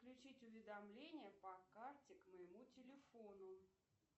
включить уведомления по карте к моему телефону